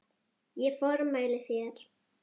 Ég formæli þér